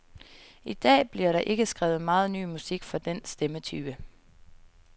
I dag bliver der ikke skrevet meget ny musik for den stemmetype.